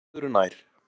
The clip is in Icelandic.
En það er öðru nær!